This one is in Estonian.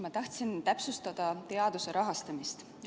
Ma tahtsin täpsustada teaduse rahastamist.